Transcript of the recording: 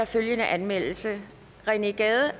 følgende anmeldelse rené gade